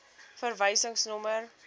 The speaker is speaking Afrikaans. verwysingsnommer